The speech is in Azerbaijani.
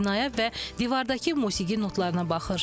Binaya və divardakı musiqi notlarına baxır.